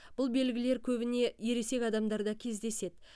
бұл белгілер көбіне ересек адамдарда кездеседі